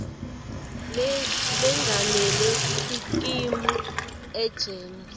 lengamele sikimu egems